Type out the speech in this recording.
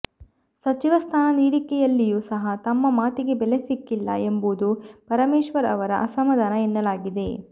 ಸಚಿವ ಸ್ಥಾನ ನೀಡಿಕೆಯಲ್ಲಿಯೂ ಸಹ ತಮ್ಮ ಮಾತಿಗೆ ಬೆಲೆ ಸಿಕ್ಕಿಲ್ಲ ಎಂಬುದು ಪರಮೇಶ್ವರ್ ಅವರ ಅಸಮಧಾನ ಎನ್ನಲಾಗಿದೆ